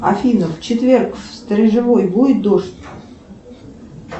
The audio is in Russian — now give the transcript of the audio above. афина в четверг в сторожевой будет дождь